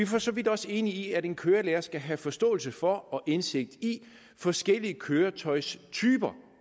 for så vidt også enige i at en kørelærer skal have forståelse for og indsigt i forskellige køretøjstyper